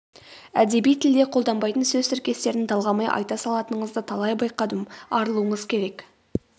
әдеби тілде қолданбайтын сөз тіркестерін талғамай айта салатыныңызды талай байқадым арылуыңыз керек